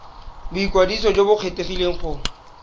boikwadiso jo bo kgethegileng go